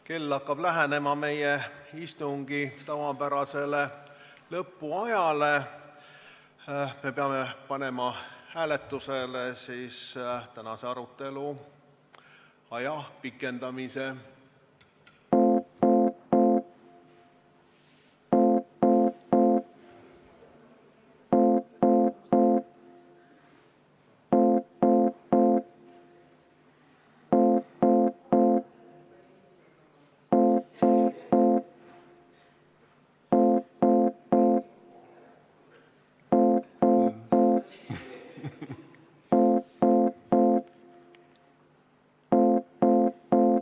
Kell hakkab lähenema meie istungi tavapärasele lõpuajale, me peame panema hääletusele tänase arutelu pikendamise.